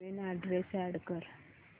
नवीन address add कर